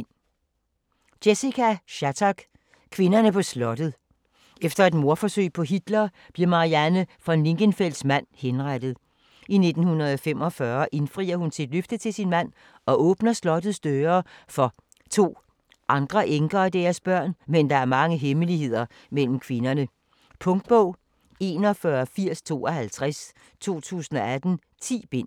Shattuck, Jessica: Kvinderne på slottet Efter et mordforsøg på Hitler, bliver Marianne von Lingenfels mand henrettet. I 1945 indfrier hun sit løfte til sin mand og åbner slottets døre for 2 andre enker og deres børn, men der er mange hemmeligheder mellem kvinderne. Punktbog 418052 2018. 10 bind.